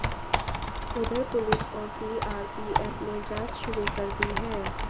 उधर पुलिस और सीआरपीएफ ने जांच शुरू कर दी है